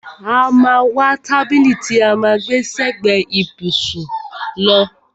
A má a wá tábìlì tí à ń gbẹ́ sẹ́gbẹ ìbùsùn lọ.